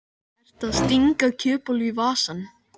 Ertu að stinga kjötbollu í vasann?